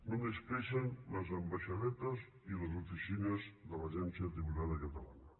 només creixen les ambaixadetes i les oficines de l’agència tributària catalana